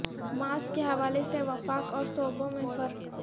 mask کے حوالے سے وفاق اور صوبوں میں فرق